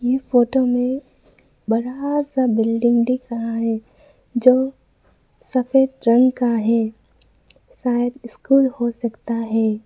यह फोटो में बड़ा सा बिल्डिंग दिख रहा है जो सफेद रंग का है शायद स्कूल हो सकता है।